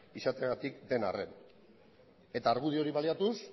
izateagatik den arren eta argudio hori baliatuz